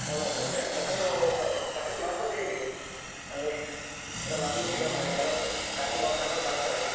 Online ಅಲ್ಲಿಯ but ಅದು purchase ಮಾಡ್ಬಹುದಾ ಹೇಗೆ ಅಂದ್ರೆ ಎಲ್ಲ ನಂಬ್ಲಿಕ್ಕೆ ಇಲ್ಲ ಮಾರ್ರೆ ಕೆಲವ್ರು ಖಾಲಿ box ಹಾಕಿ ಕಳಿಸ್ತಾರೆ.